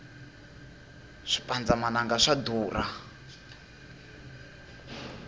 swipandza mananga swa durha